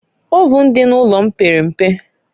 Ovụn dị n'ụlọ m pere mpe